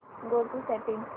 go to settings